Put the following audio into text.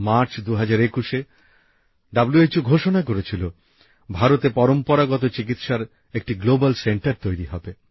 March ২০২১এ হু ঘোষণা করেছিল ভারতে পরম্পরাগত চিকিৎসার একটি আন্তর্জাতিক কেন্দ্র তৈরি হবে